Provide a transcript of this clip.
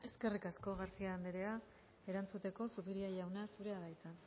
eskerrik asko garcía andrea erantzuteko zupiria jauna zurea da hitza